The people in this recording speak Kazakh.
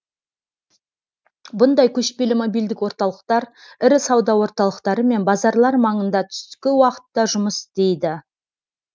бұндай көшпелі мобильдік орталықтар ірі сауда орталықтары мен базарлар маңында түскі уақытта жұмыс істейді